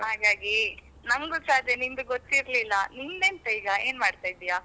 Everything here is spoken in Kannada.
ಹಾಗಾಗಿ ನಂಗು ಸ ಅದೇ ನಿಂದು ಗೊತ್ತಿರಲಿಲ್ಲ ನಿಂದ್ ಎಂತ ಈಗ? ಏನ್ ಮಾಡ್ತಾ ಇದ್ದೀಯಾ?